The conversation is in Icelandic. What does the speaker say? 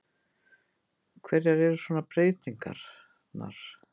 Hverjar eru svona breytingarnar?